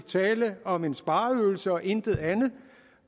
tale om en spareøvelse og intet andet